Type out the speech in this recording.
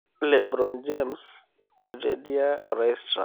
Le Bron James etedia orais Trump